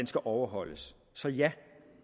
skal overholdes så ja